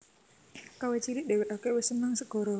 Kawit cilik dheweke wis seneng segara